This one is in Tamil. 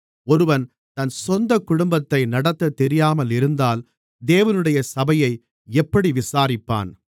ஒருவன் தன் சொந்தக் குடும்பத்தை நடத்தத்தெரியாமல் இருந்தால் தேவனுடைய சபையை எப்படி விசாரிப்பான்